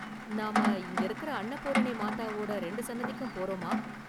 நாம இங்க இருக்குற அன்னபூரணி மாதாவோட ரெண்டு சன்னதிக்கும் போறோமா?